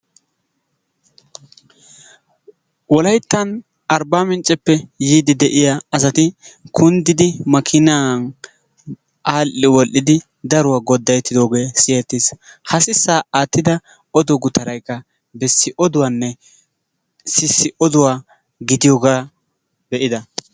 wollayttan arbbaamincceppe yiiddi de'iyaa asati kunddiidi maakinaan al"i woll"idi daruwaa godayeettidoogee siyyettiis. Ha sissaa aattidda oduwaa gutaraykka bessi oduwaanne sissi oduwaa gidiyoogaa be"ida.